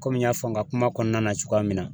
Komi n y'a fɔ n ka kuma kɔnɔna na cogoya min na